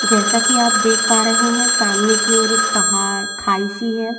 जैसा की आप देख पा रहे है सामने की ओर पहाड़ खाई सी है।